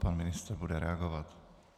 Pan ministr bude reagovat.